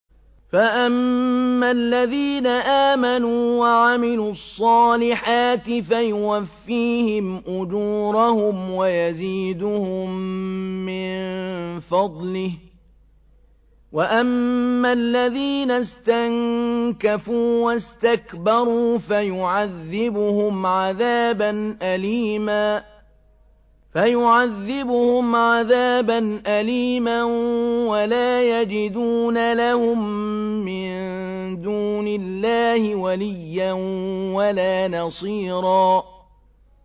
فَأَمَّا الَّذِينَ آمَنُوا وَعَمِلُوا الصَّالِحَاتِ فَيُوَفِّيهِمْ أُجُورَهُمْ وَيَزِيدُهُم مِّن فَضْلِهِ ۖ وَأَمَّا الَّذِينَ اسْتَنكَفُوا وَاسْتَكْبَرُوا فَيُعَذِّبُهُمْ عَذَابًا أَلِيمًا وَلَا يَجِدُونَ لَهُم مِّن دُونِ اللَّهِ وَلِيًّا وَلَا نَصِيرًا